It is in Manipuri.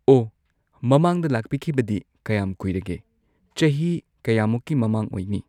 ꯑꯣ ꯃꯃꯥꯡꯗ ꯂꯥꯛꯄꯤꯈꯤꯕꯗꯤ ꯀꯌꯥꯝ ꯀꯨꯏꯔꯒꯦ ꯆꯍꯤ ꯀꯌꯥꯃꯨꯛꯀꯤ ꯃꯃꯥꯡ ꯑꯣꯏꯅꯤ